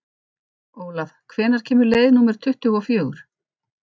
Olav, hvenær kemur leið númer tuttugu og fjögur?